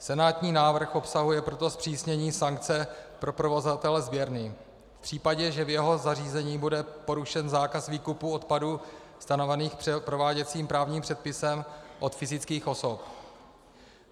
Senátní návrh obsahuje proto zpřísnění sankce pro provozovatele sběrny v případě, že v jeho zařízení bude porušen zákaz výkupu odpadů stanovených prováděcím právním předpisem od fyzických osob.